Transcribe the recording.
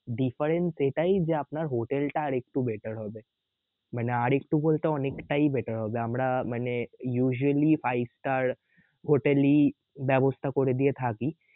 difference এটাই যে আপনার হোটেলটা আর একটু better হবে মানে আর একটু বলতে অনেকটাই better হবে আমরা মানে usually five star হোটেলই ব্যাবস্থা করে দিয়ে থাকি